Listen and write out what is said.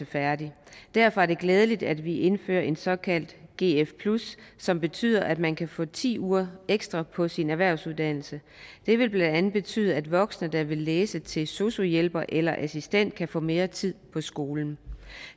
færdig derfor er det glædeligt at vi indfører et såkaldt gf som betyder at man kan få ti uger ekstra på sin erhvervsuddannelse det vil blandt andet betyde at voksne der vil læse til sosu hjælper eller assistent kan få mere tid på skolen